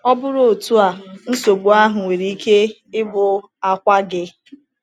Ọ bụrụ otu a, nsogbu ahụ nwere ike ịbụ akwa gị.